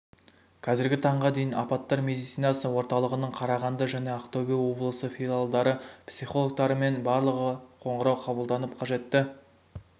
қазіргі таңға дейін апаттар медицинасы орталығының қарағанды және ақтөбе облысы филиалдары психологтарымен барлығы қоңырау қабылданып қажетті